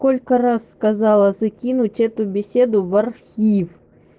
сколько раз сказала закинуть эту беседу в архив